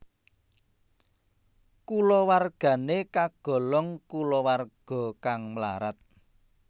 Kulawargane kagolong kulawarga kang mlarat